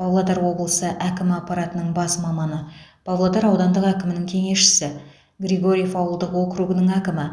павлодар облысы әкімі аппаратының бас маманы павлодар аудандық әкімінің кеңесшісі григорьев ауылдық округінің әкімі